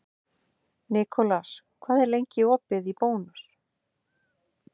Nikolas, hvað er opið lengi í Bónus?